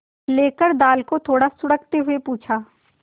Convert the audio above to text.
लेकर दाल को थोड़ा सुड़कते हुए पूछा